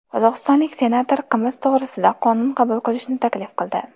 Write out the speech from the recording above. Qozog‘istonlik senator qimiz to‘g‘risida qonun qabul qilishni taklif qildi.